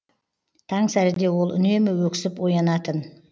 таңсәріде ол үнемі өксіп оянатын